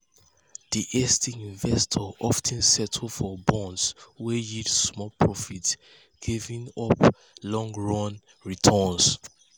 di hasty investor of ten settle for bonds wey yield small profit giving up long-term returns.